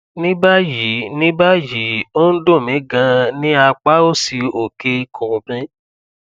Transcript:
ní báyìí ní báyìí ó ń dùn mí ganan ní apá òsì òkè ikùn mi